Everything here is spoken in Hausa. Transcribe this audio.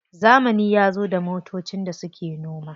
Zamani yazo da motocin da suke noma.